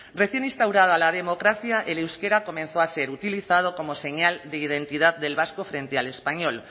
recién instaurada la democracia el euskera comenzó a ser utilizado como señal de identidad del vasco frente al español